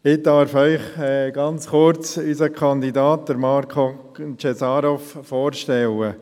Ich darf Ihnen ganz kurz unseren Kandidaten Marko Cesarov vorstellen.